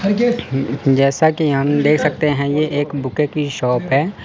जैसा कि हम देख सकते हैं ये एक बुके की शॉप है।